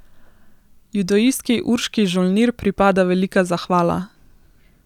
Judoistki Urški Žolnir pripada velika zahvala.